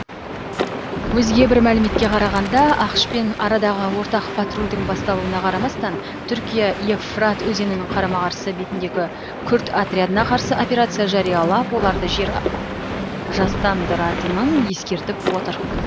өзге бір мәліметке қарағанда ақш пен арадағы ортақ патрульдің басталуына қарамастан түркия евфрат өзенінің қарама қарсы бетіндегі күрд отрядтарына қарсы операция жариялап оларды жер жастандыратынын ескертіп отыр